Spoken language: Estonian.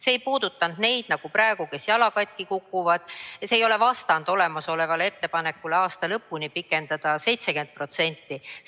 See ei puudutanud neid, kes jala katki kukuvad, ja see ei ole vastand olemasolevale ettepanekule pikendada aasta lõpuni 70%.